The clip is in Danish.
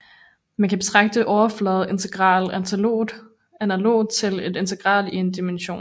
Man kan betragte overfladeintegral analogt til et integral i én dimention